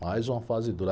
Mais uma fase dura.